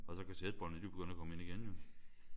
Og så kassettebåndene de er jo begyndt at komme ind igen jo